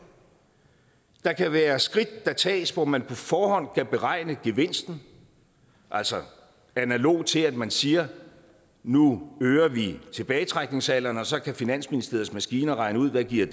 der kan være skridt der tages hvor man på forhånd kan beregne gevinsten altså analog til at man siger at nu øger vi tilbagetrækningsalderen og så kan finansministeriets maskiner regne ud hvad det giver